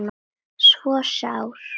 svo sár